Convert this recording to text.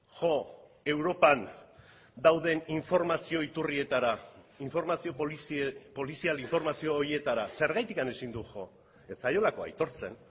jo europan dauden informazio iturrietara informazio polizial informazio horietara zergatik ezin du jo ez zaiolako aitortzen